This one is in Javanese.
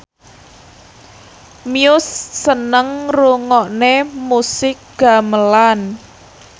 Muse seneng ngrungokne musik gamelan